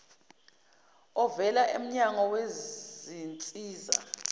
ovela emnyango wezinsiza